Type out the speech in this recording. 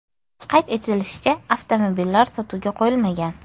Qayd etilishicha, avtomobillar sotuvga qo‘yilmagan.